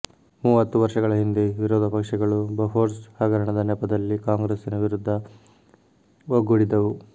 ಮೂವತ್ತು ವರ್ಷಗಳ ಹಿಂದೆ ವಿರೋಧ ಪಕ್ಷಗಳು ಬೊಫೋರ್ಸ್ ಹಗರಣದ ನೆಪದಲ್ಲಿ ಕಾಂಗ್ರೆಸ್ಸಿನ ವಿರುದ್ಧ ಒಗ್ಗೂಡಿದವು